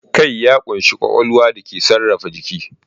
Kai ya ƙunshi ƙwaƙwalwar da ke sarrafa jiki.